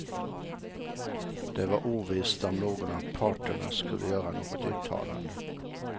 Det var ovisst om någon av parterna skulle göra något uttalande.